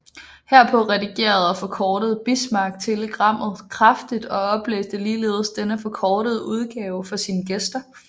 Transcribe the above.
Herpå redigerede og forkortede Bismarck telegrammet kraftigt og oplæste ligeledes denne forkortede udgave for sine gæster